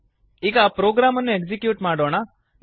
ಈಗ ಪ್ರೊಗ್ರಾಮ್ ಅನ್ನು ಎಕ್ಸಿಕ್ಯೂಟ್ ಮಾಡೋಣ